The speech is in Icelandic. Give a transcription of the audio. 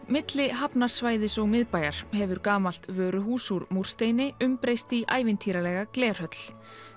milli hafnarsvæðis og miðbæjar hefur gamalt vöruhús úr múrsteini umbreyst í ævintýralega glerhöll